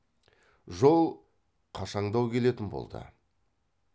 жол қашаңдау келетін болды